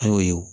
An y'o ye o